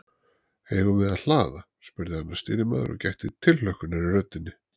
Eigum við að hlaða? spurði annar stýrimaður og gætti tilhlökkunar í röddinni.